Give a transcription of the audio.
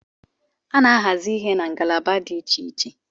A na-ahazi ihe na ngalaba dị Iche iche